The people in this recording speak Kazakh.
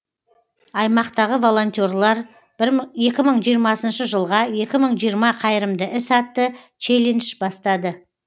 аймақтағы волонтерлар екі мың жиырмасыншы жылға екі мың жиырма қайырымды іс атты челлендж бастады